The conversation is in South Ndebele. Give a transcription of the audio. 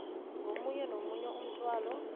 komunye nomunye umthwalo